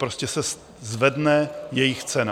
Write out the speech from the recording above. Prostě se zvedne jejich cena.